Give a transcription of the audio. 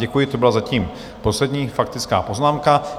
Děkuji, to byla zatím poslední faktická poznámka.